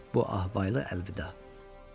Bu əhval ilə əlvida.